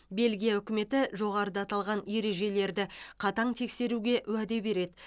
бельгия үкіметі жоғарыда аталған ережелерді қатаң тексеруге уәде береді